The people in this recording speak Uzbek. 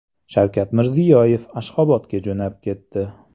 Shavkat Mirziyoyev Ashxobodga jo‘nab ketdi.